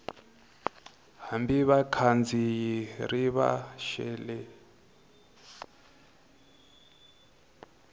hambi vakhandziyi ri va xele